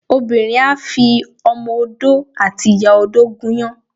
Obinrin á fi Ọmọ Odó àti ìyá-odó gúnyán